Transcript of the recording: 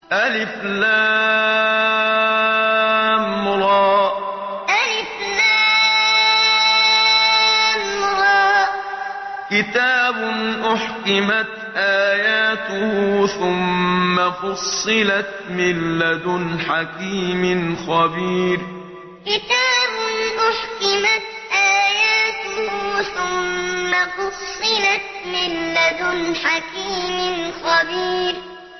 الر ۚ كِتَابٌ أُحْكِمَتْ آيَاتُهُ ثُمَّ فُصِّلَتْ مِن لَّدُنْ حَكِيمٍ خَبِيرٍ الر ۚ كِتَابٌ أُحْكِمَتْ آيَاتُهُ ثُمَّ فُصِّلَتْ مِن لَّدُنْ حَكِيمٍ خَبِيرٍ